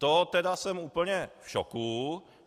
To jsem tedy úplně v šoku.